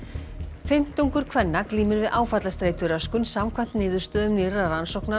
fimmtungur kvenna glímir við áfallastreituröskun samkvæmt niðurstöðum nýrrar rannsóknar á